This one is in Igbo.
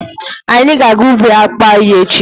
Anyị ga-aga ubi akpụ anyị echi.